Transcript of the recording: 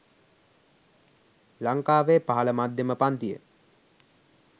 ලංකාවේ පහළ මධ්‍යම පංතිය